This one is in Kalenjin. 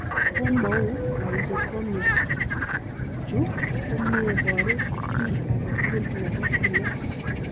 Komauu rhizotomies, chuu komeparuu kiy agee tugul nepoo tileet.